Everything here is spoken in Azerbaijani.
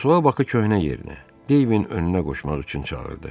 Fransua Bakı köhnə yerinə, Deyvin önünə qoşmaq üçün çağırdı.